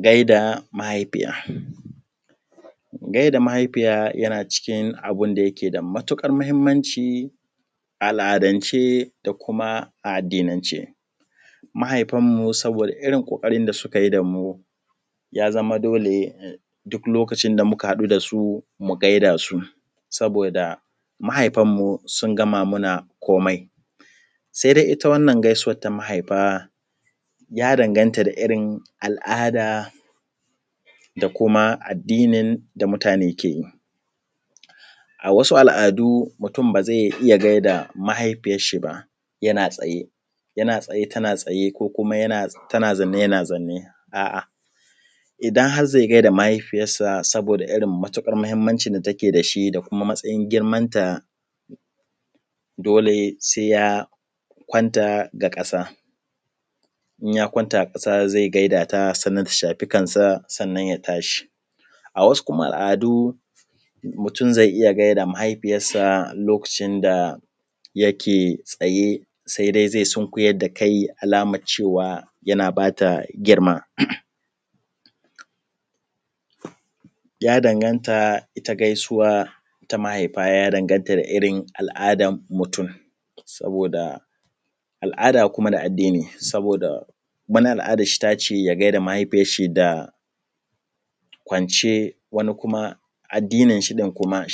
gaida mahaifiya, gaida mahaifiya yana cikin abinda yakeda matukar mahimmanciˋ a al’adan ce da kuma addinan ce mahaifan mu sabo da irrin kokarin da sukayiˋ damu yazama dole duk inda muka gansu mu gaida su, saboda mahaifanmu sun gama mana komai saidai kuma itta irrin wannan gaisuwan na mahaifa ya dan ganta da irrin al’ada da kuma iddinin da mutu ne keyi. a wasu al’adu mutun bazai iyya gaida mahaifiyar shi ba yana tsaye, tana tsaye ko kuma yana zanne tana zaunne a’a idan har gaida mahaifiˋyar sa saboda irrin mahimmancin da take dash da kuma matsayin girmanta dole sai ya kwanta ga kasa inya kwanta a kasa zai gaida ta sannan ta shafiˋ kansa ya tashi. a wˊasu kuma al’adu mutun zai iyya gaida mahaifiˋyar sa lokacin da take tsaye sai dai dukar da kanshi a lamar cewa yana bata girma ya danganta itta gai suwa ta mahaifa ya danganta da irrin da kuma matsayin girmanta dole sai ya kwanta ga kasa inya kwanta a kasa zai gaida ta sannan ta shafiˋ kansa ya tashi. a wˊasu kuma al’adu mutun zai iyya gaida mahaifiˋyar sa lokacin da take tsaye sai dai dukar da kanshi a kamar cewa yana bata girma ya danganta itta gai suwa ta mahaifa ya danganta da irrin al’ada na mutum, al’ada ne da addini wani al’adan shi yace ya gaida mahaifan shi kwance waniˋ kuma addin shi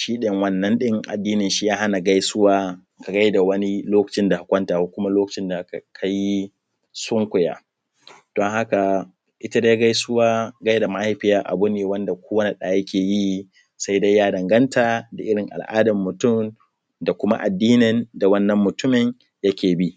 shi din wannan din ya hana gaisuwa gaida wani lokacin da ka kwanta ko kuma lokacin da kayiˋ sunkuya dan haka itta dai gaisuwa gaida mahaifiya abune da ko wani da yakeyiˋ sai dai ya dan ganta da irrin al’adan mutum da kuma addinin da wannan mutumin yake bi